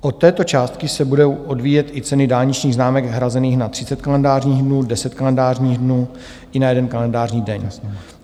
Od této částky se budou odvíjet i ceny dálničních známek hrazených na 30 kalendářních dnů, 10 kalendářních dnů i na jeden kalendářní daň.